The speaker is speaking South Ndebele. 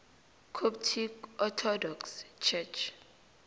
coptic orthodox church